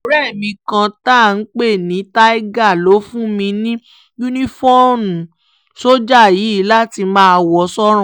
ọ̀rẹ́ mi kan tá à ń pè ní tiger ló fún mi ní yunifóònù sójà yìí láti máa wọ̀ sọ́rùn